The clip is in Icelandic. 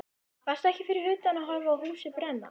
Varstu ekki fyrir utan að horfa á húsið brenna?